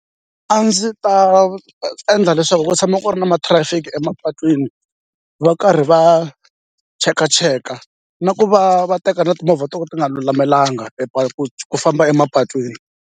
A ndzi ta endla leswaku ku tshama ku ri na matrafiki emapatwini va karhi va chekacheka na ku va va teka na timovha to ka ti nga lulamelangi ku ku famba emapatwini.